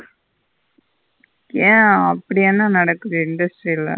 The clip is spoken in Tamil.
ஏன் அப்பிடி என்ன நடக்குது industry ல.